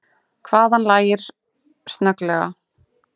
Hávaðann lægir snögglega.